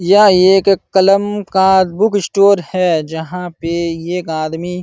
यह एक कलम का बुक स्टोर है। जहां पे एक आदमी --